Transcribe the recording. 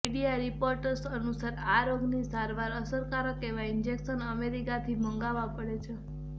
media reports અનુસાર આ રોગની સારવારમાં અસરકારક એવા ઈન્જેક્શન અમેરિકાથી મંગાવા પડે છે